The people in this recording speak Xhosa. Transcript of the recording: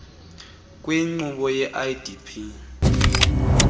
kwinkqubo ye idp